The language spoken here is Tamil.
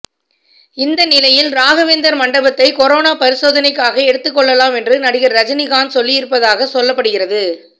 இந்த நிலையில் ராகவேந்தர் மண்டபத்தை கொரோனா பரிசோதனைக்காக எடுக்கொள்ளலாம் என்று நடிகர் ரஜினி காந்த் சொல்லியிருப்பதாக சொல்லப்படுகிறது